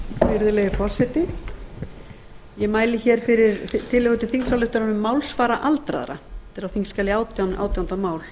virðulegi forseti ég mæli hér fyrir tillögur til þingsályktunar um málsvara aldraða á þingskjali átján átjánda mál